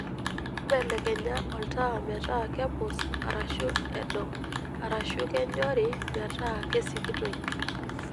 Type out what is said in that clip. mbelekenya oltaa metaa kepus arashu edo arashu kenyori metaa kesikitoi